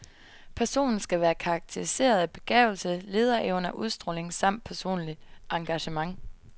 Personen skal være karakteriseret af begavelse, lederevner, udstråling samt personligt engagement.